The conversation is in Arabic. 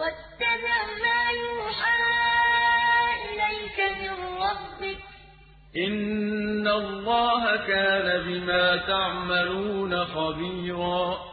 إِنَّ اللَّهَ كَانَ بِمَا تَعْمَلُونَ خَبِيرًا وَاتَّبِعْ مَا يُوحَىٰ إِلَيْكَ مِن رَّبِّكَ ۚ إِنَّ اللَّهَ كَانَ بِمَا تَعْمَلُونَ خَبِيرًا